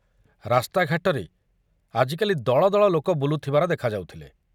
ରାସ୍ତାଘାଟରେ ଆଜିକାଲି ଦଳ ଦଳ ଲୋକ ବୁଲୁଥିବାର ଦେଖା ଯାଉଥିଲେ।